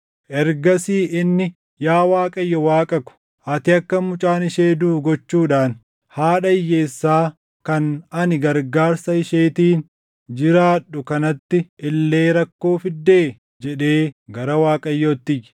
Ergasii inni, “Yaa Waaqayyo Waaqa ko, ati akka mucaan ishee duʼu gochuudhaan haadha hiyyeessaa kan ani gargaarsa isheetiin jiraadhu kanatti illee rakkoo fiddee?” jedhee gara Waaqayyootti iyye.